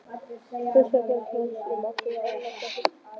Hlustaði í þögn, hún sem átti að annast og hugga.